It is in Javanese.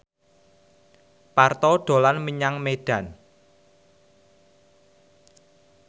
Parto dolan menyang Medan